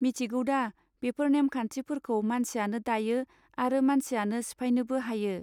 मिथिगौदा बेफोर नेमखान्थि फोरखौ मानसियानो दायो आरो मानसियानो सिफायनोबो हायो.